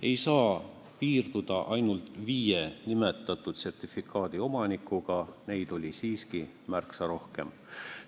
Ei saa piirduda ainult nimetatud viie sertifikaadiomanikuga, neid oli siiski märksa rohkem.